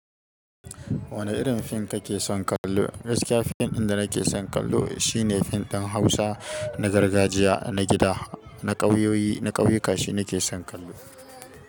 Wane irin fim kake son kallo? Gaskiya fim ɗin da nake son kallo shine fim ɗin Hausa na gargajiya, na gida, na ƙauyoyi, na ƙauye kashi nake son kallo.